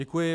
Děkuji.